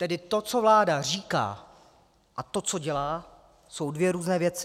Tedy to, co vláda říká, a to, co dělá, jsou dvě různé věci.